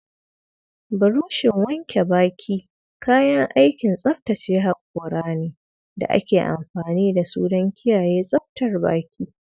burushin wanke baki kayan aikin tsaftace hakora ne da ake amfani da su don kiyaye tsaftar baki.